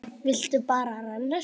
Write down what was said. Vildi bara renna sér.